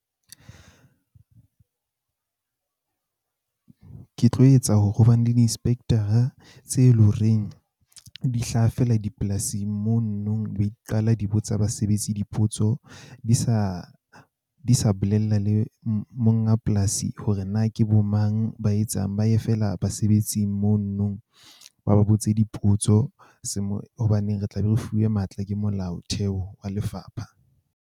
Ke tlo etsa hore ho ba ne le di-inspector-a tse leng horeng di hlaha feela dipolasing mono no be di qala di botsa basebetsi, dipotso di sa di sa, di sa bolella le monga polasi hore na ke bo mang ba etsang ba ye feela basebetsing mono no ba ba botse dipotso. Seemo hobane re tla be re fuwe matla ke molaotheo wa lefapha.